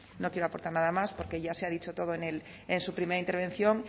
no quiero aportar nada más porque ya se ha dicho todo en su primera intervención